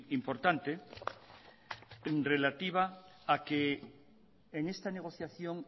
importante en relativa a que en esta negociación